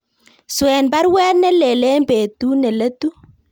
Swen baruet nelelach en betut neletu